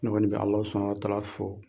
Ne kɔni bɛ Alao Subahanala Tala fɔ